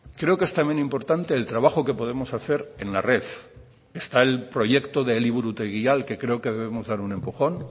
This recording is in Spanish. creo que es también importante el trabajo que podemos hacer en la red está el proyecto de eliburutegia al que creo que debemos dar un empujón